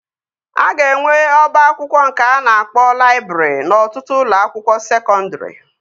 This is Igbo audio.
A ga-enwe ọba akwụkwọ nke a na-akpọ laịbrị n'ọtụtụ ụlọ akwụkwọ sekọndri